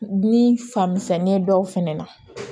Ni fan misɛnnin ye dɔw fɛnɛ na